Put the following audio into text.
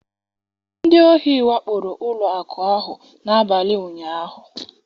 Ndị ohi wakporo ụlọ akụ ahụ n'abalị ụnyahụ